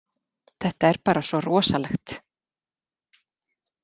Þetta er bara svo rosalegt